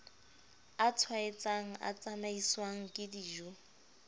a tshwaetsang a tsamaiswang kedijo